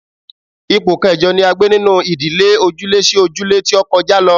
Ipò kẹjọ ni a gbé nínú ìdílé ojúlé-sí-ojúlé tó kọjá lọ